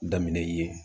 Daminɛ ye yen